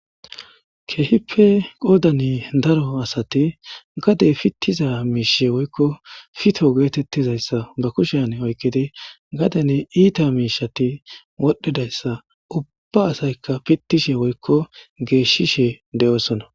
keehipe qoodani daro asati gadey pittiza miishe woykko fito geetettizayssa ba kushian oykkidi gadeni iita miishati wodhdhidayssa ubba asaykka pittishe woykko geeshishe de7oosona